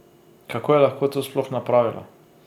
Kako je lahko to sploh napravila?